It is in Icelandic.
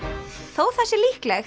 þótt það sé líklegt